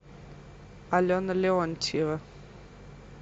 алена леонтьева